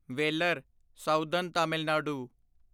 Vellore southern Tamil Nadu